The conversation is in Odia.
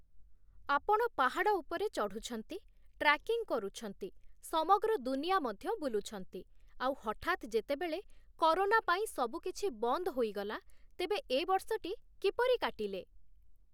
ଆପଣ ପାହାଡ଼ ଉପରେ ଚଢ଼ୁଛନ୍ତି, ଟ୍ରାକିଙ୍ଗ କରୁଛନ୍ତି, ସମଗ୍ର ଦୁନିଆ ମଧ୍ୟ ବୁଲୁଛନ୍ତି, ଆଉ ହଠାତ ଯେତେବେଳେ କରୋନା ପାଇଁ ସବୁକିଛି ବନ୍ଦ ହୋଇଗଲା, ତେବେ ଏ ବର୍ଷଟି କିପରି କାଟିଲେ?